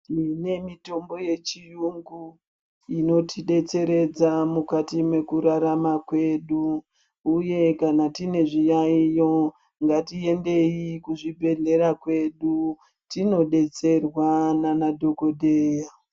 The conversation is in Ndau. Mune mitombo yechiyungu inotidetseredza mukati mekurarara kwedu. Uye kana tine zviyayo, ngatiende kuzvibhedhlera kwedu, tinodetserwa ngaana dhokodheya.